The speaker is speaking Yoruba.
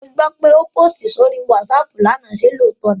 Mo gbó pé o pósìtì sórí WhatsApp lánàá, ṣe lóòótọ́ ni?